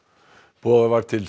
boðað var til